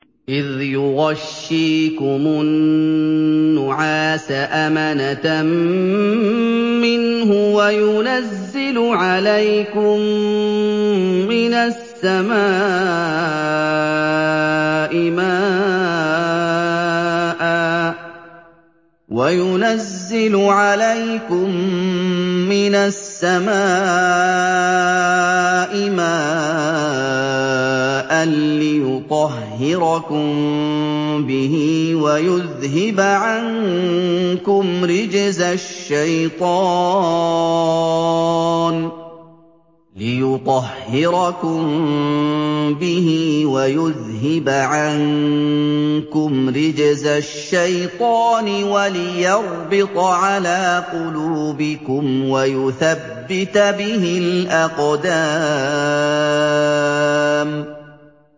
إِذْ يُغَشِّيكُمُ النُّعَاسَ أَمَنَةً مِّنْهُ وَيُنَزِّلُ عَلَيْكُم مِّنَ السَّمَاءِ مَاءً لِّيُطَهِّرَكُم بِهِ وَيُذْهِبَ عَنكُمْ رِجْزَ الشَّيْطَانِ وَلِيَرْبِطَ عَلَىٰ قُلُوبِكُمْ وَيُثَبِّتَ بِهِ الْأَقْدَامَ